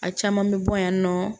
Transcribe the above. A caman bɛ bɔ yan nɔ